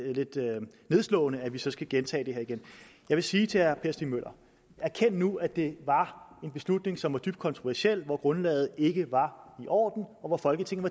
nedslående at vi så skal gentage det her igen jeg vil sige til herre per stig møller erkend nu at det var en beslutning som var dybt kontroversiel hvor grundlaget ikke var i orden og hvor folketinget